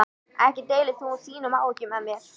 Ekki deilir þú þínum áhyggjum með mér.